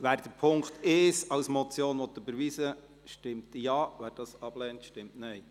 Wer den Punkt 1 als Motion überweisen will, stimmt Ja, wer dies ablehnt, stimmt Nein.